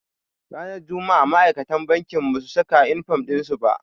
Ranar juma'a ma'aikatan bankin basu saka inifom ɗin su ba.